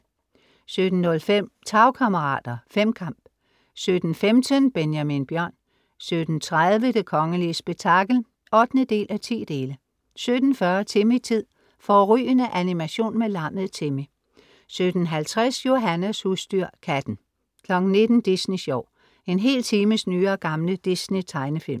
17:05 Tagkammerater. Femkamp 17:15 Benjamin Bjørn 17:30 Det kongelige spektakel (8:10) 17:40 Timmy-tid. Fårrygende animation med lammet Timmy 17:50 Johannas husdyr. Katten 19:00 Disney sjov. En hel times nye og gamle Disney-tegnefilm